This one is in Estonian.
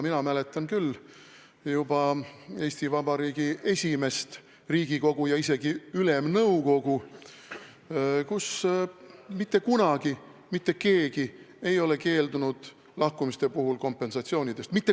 Mina mäletan küll, et juba Eesti Vabariigi esimeses Riigikogus ja isegi Ülemnõukogus mitte kunagi mitte keegi minu teada ei keeldunud lahkumise puhul kompensatsioonist.